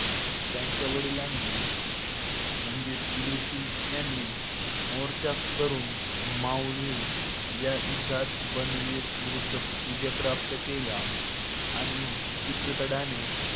त्यांच्या वडिलांनी म्हणजेच उदय सिंग यांनी मोर्चा करून मावलीच्या युद्धात बनवीर विरुद्ध विजय प्राप्त केला आणि चित्तोडच्या